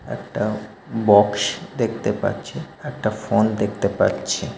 একটা বক্স দেখতে পাচ্ছি একটা ফোন দেখতে পাচ্ছি।